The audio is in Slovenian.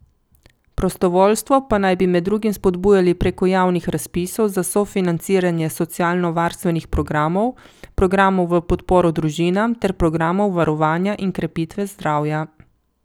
Prostovoljstvo pa naj bi med drugim spodbujali preko javnih razpisov za sofinanciranje socialnovarstvenih programov, programov v podporo družinam ter programov varovanja in krepitve zdravja.